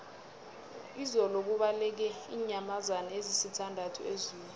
izolo kubaleke iinyamazana ezisithandathu ezoo